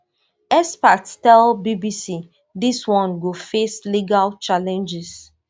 experts tell bbc dis one go face legal challenges